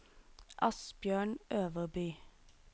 Asbjørn Øverby